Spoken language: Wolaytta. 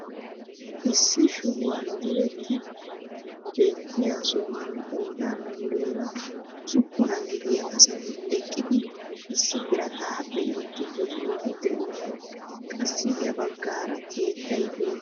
Issi shubuwaan diretti beettiyaa sohuwaan qoodan muleera usuppunaa gidiyaa asati eqqidi issi birataa be'iidi de'iyaageti de'oosona. qassi ya baggaara keettay beettees.